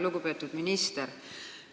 Lugupeetud minister!